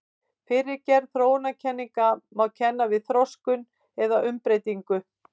Fyrri gerð þróunarkenninga má kenna við þroskun eða umbreytingu.